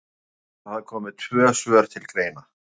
Okkur sýnist að þá komi tvö svör til greina.